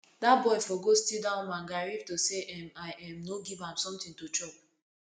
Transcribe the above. dat boy for go steal dat woman garri if to say say um i um no give am something to chop